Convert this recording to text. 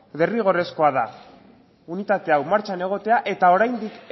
derrigorrezkoa da unitate hau martxan egotea eta oraindik